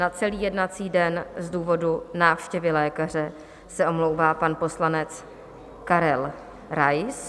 Na celý jednací den z důvodu návštěvy lékaře se omlouvá pan poslanec Karel Rais.